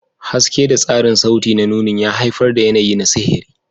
Haske da tasirin sauti na nunin ya haifar da yanayi na sihiri.